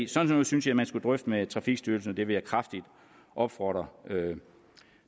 sådan noget synes jeg man skulle drøfte med trafikstyrelsen det vil jeg kraftigt opfordre